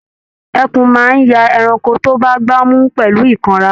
Ẹkùn máa n ya ẹranko tó bá gbà mú pẹlu ikanra.